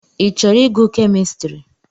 Ị chọrọ ịgụ kemistri?